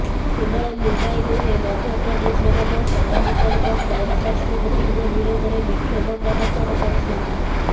କେବଳ ମୁମ୍ବାଇ ନୁହେଁ ମଧ୍ୟପ୍ରଦେଶରେ ମଧ୍ୟ ଶତାଧିକ ଲୋକ ଫ୍ରାନ୍ସ ରାଷ୍ଟ୍ରପତିଙ୍କ ବିରୋଧରେ ବିକ୍ଷୋଭ ପ୍ରଦର୍ଶନ କରିଛନ୍ତି